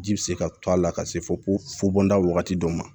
Ji bɛ se ka to a la ka se fɔ fobolila wagati dɔ ma